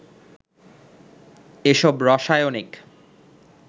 এসব রাসায়নিক